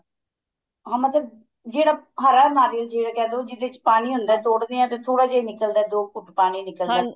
ਹਾਂ ਮਤਲਬ ਜਿਹੜਾ ਹਰਾ ਨਾਰੀਅਲ ਜਿਵੇਂ ਕਹਿ ਦੋ ਜਿੱਦੇ ਚ ਪਾਣੀ ਹੁੰਦਾ ਤੋੜਦੇ ਆ ਤਾਂ ਥੋੜਾ ਜਾ ਹੀ ਨਿਕਲਦਾ ਦੋ ਘੁੱਟ ਪਾਣੀ ਨਿਕਲਦਾ